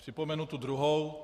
Připomenu tu druhou.